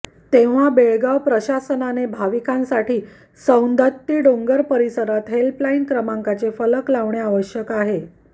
तेव्हा बेळगाव प्रशासनाने भाविकांसाठी सौंदत्ती डोंगर परिसरात हेल्पलाईन क्रमांकांचे फलक लावणे आवश्यक आहे